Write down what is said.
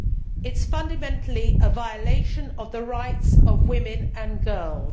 It is fundamentally a violation of the rights of women and girls.